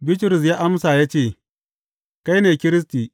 Bitrus ya amsa ya ce, Kai ne Kiristi.